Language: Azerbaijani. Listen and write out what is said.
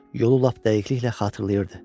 Yolu lap dəqiqliklə xatırlayırdı.